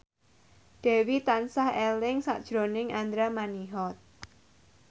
Dewi tansah eling sakjroning Andra Manihot